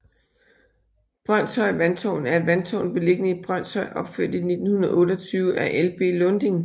Brønshøj Vandtårn er et vandtårn beliggende i Brønshøj opført i 1928 af Ib Lunding